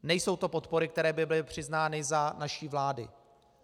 Nejsou to podpory, které by byly přiznány za naší vlády.